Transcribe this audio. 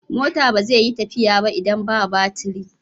Mota ba zai yi tafiya ba idan ba batiri.